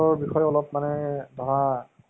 উম তাৰ পৰা sports ৰ কিবা অলপ শিকিব পাৰিবা।